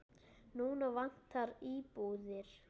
Núna vantar íbúðir.